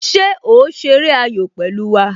Ṣé o ṣeré ayò pẹ̀lú wá?